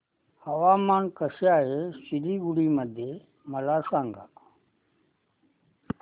हवामान कसे आहे सिलीगुडी मध्ये मला सांगा